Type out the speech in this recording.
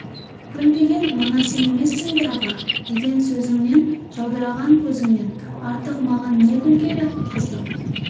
гүл деген мына сен емессің бе аға деген сөзіңнен жаудыраған көзіңнен артық маған не гүл керек қыздың